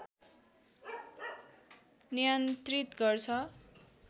नियन्त्रित गर्छ